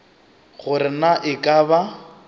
gore na e ka ba